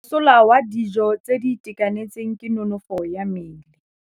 Mosola wa dijô tse di itekanetseng ke nonôfô ya mmele.